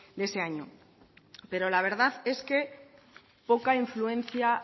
de ese año pero la verdad es que poca influencia